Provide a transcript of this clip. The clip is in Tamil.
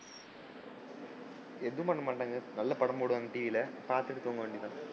எதும் பண்ண மாட்டாங்க. நல்ல படம் போடுவாங்க TV ல பாத்துட்டு தூங்க வேண்டிய தான்.